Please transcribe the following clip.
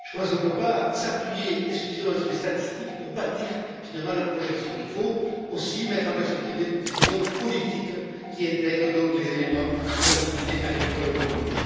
Je pense qu'on ne peut pas s'appuyer exclusivement sur les statistiques pour bâtir la projection, il faut aussi mettre en perspective des visions politiques qui intègrent les éléments de l'activité agricole commune.